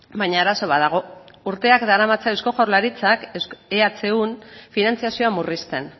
baina arazo bat dago urteak daramatza eusko jaurlaritzak ehun finantzazioa murrizten